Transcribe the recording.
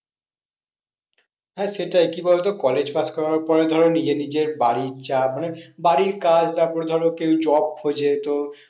হ্যাঁ সেটাই কি বলতো college pass করার পর ধরো নিজের নিজের বাড়ির চাপ মানে, বাড়ির কাজ তারপরে ধরো কেউ job খোঁজে তো